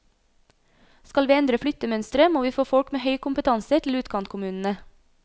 Skal vi endre flyttemønsteret, må vi få folk med høy kompetanse til utkantkommunene.